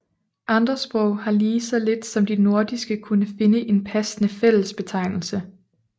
Andre sprog har lige så lidt som de nordiske kunnet finde en passende fællesbetegnelse